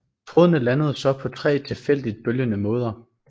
Trådene landede så på tre tilfældigt bølgende måder